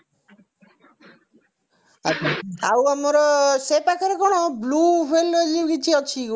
ଆଛା ଆଉ ଆମର ସେପାଖରେ କଣ blue whale ଏଇ ଯାଉ କିଛି ଅଛି କି ଗୋଟେ